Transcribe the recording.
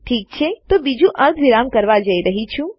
ઠીક છે તો બીજું હું અર્ધવિરામ કરવા જઈ રહયો છુ